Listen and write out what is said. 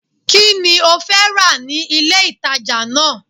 Kí ni ó fẹ́ rà ní ilé ìtàjà náà?